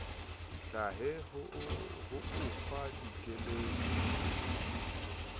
hlahe ho o fa dikeletso